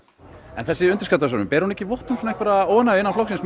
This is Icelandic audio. en þessi undirskriftasöfnun ber hún ekki vott um óánægju innan flokksins